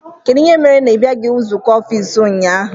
Kedụ ihe mere na ibiaghi nzụkọ ọffici ụnyaahụ?